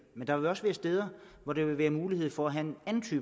men der vil også være steder hvor der vil være mulighed for at have en anden